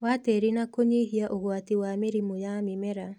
wa tĩri na kũnyihia ũgwati wa mĩrimũ ya mĩmera.